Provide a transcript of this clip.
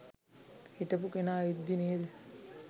හිටපු කෙනා ඉද්දි නෙද